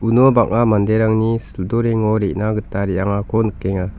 uno banga manderangni sildorengo re·na gita re·angako nikenga.